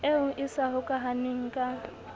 eo e sa hokahaneng ka